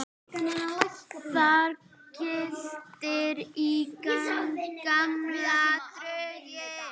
Þar glittir í gamla drauga.